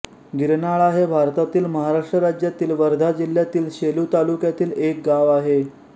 गिरनाळा हे भारतातील महाराष्ट्र राज्यातील वर्धा जिल्ह्यातील सेलू तालुक्यातील एक गाव आहे